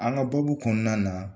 An ka baabu kɔnɔna na